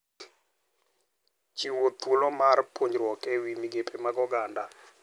Chiwo thuolo mar puonjruok e wi migepe mag oganda.